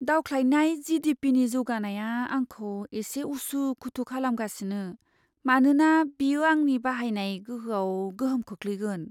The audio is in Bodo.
दावख्लायनाय जि.डि.पि.नि जौगानाया आंखौ एसे उसु खुथु खालामगासिनो, मानोना बेयो आंनि बाहायनाय गोहोआव गोहोम खोख्लैगोन।